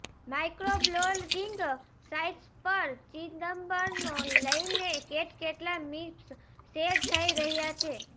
microblogging sites પર ચિદમ્બરનો લઈને કેટકેટલાય મિમ્સ શેર થઈ રહ્યા છે